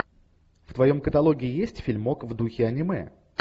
в твоем каталоге есть фильмок в духе аниме